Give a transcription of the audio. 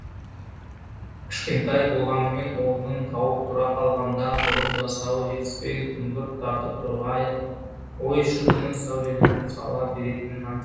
кішкентай болғанымен орнын тауып тұра қалғанда бұрын жасауы жетіспей күңгірт тартып тұрған ой шіркіннің сәулеленіп сала беретінін айт